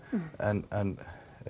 en